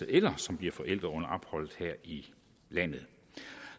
eller som bliver forældre under opholdet her i landet